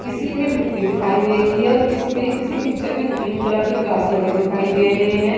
किसी में मिट्टी दिखाई दे रही है और किस्में किसी पिक्चर में ग्रीन कलर के घास लगे दिखाई दे रहे है।